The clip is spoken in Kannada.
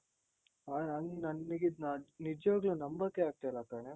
ಆ ನನಿಗಿದು ನಿಜ್ವಾಗ್ಲೂ ನಂಬೊಕೆ ಆಗ್ತಾ ಇಲ್ಲ ಕಣೆ?